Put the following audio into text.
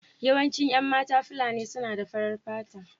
Yawancin 'yan matan Fulani suna da farar fata.